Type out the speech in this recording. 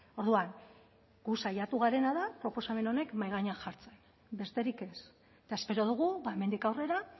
orduan gu saiatu garena da proposamen honek mahai gainean jartzen besterik ez eta espero dugu hemendik aurrera